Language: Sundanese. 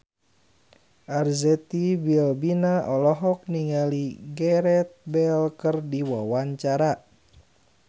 Arzetti Bilbina olohok ningali Gareth Bale keur diwawancara